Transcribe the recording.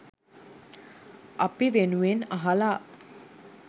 අපි වෙනුවෙන් අහලා